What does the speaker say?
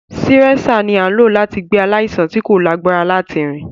Sireṣạ ni a n lo lati gbe alaisan ti ko lagbara lati rin.